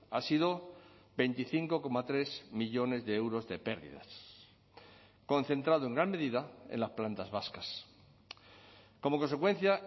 ha sido veinticinco coma tres millónes de euros de pérdidas concentrado en gran medida en las plantas vascas como consecuencia